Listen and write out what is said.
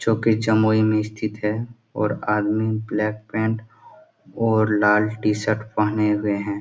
जो कि जमुई में स्थित है और आदमी ब्लैक पैंट और लाल टी शर्ट पहने हुए हैं।